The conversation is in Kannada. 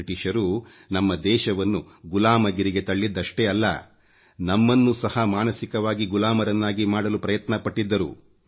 ಬ್ರಿಟಿಷರು ನಮ್ಮ ದೇಶವನ್ನು ಗುಲಾಮಗಿರಿಗೆ ತಳ್ಳಿದ್ದಷ್ಟೇಅಲ್ಲ ನಮ್ಮನ್ನು ಸಹ ಮಾನಸಿಕವಾಗಿ ಗುಲಾಮರನ್ನಾಗಿ ಮಾಡಲು ಪ್ರಯತ್ನ ಪಟ್ಟಿದ್ದರು